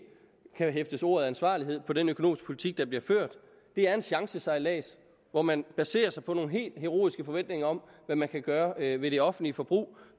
kan hæfte ordet ansvarlighed på den økonomiske politik der bliver ført det er en chancesejlads hvor man baserer sig på nogle helt heroiske forventninger om hvad man kan gøre ved det offentlige forbrug